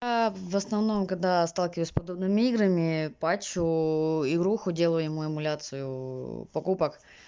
в основном когда сталкивались с подобными играми пачо игруху делали ему эмуляцию покупок